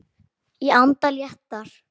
Ég anda léttar.